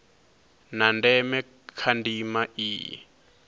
ha ndeme kha ndima iyi